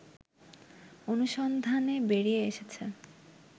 অনুসন্ধানে বেরিয়ে এসেছে